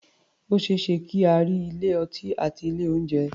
O ṣé é ṣe kí a rí ilé-ọtí àti ilé-oúnjẹ.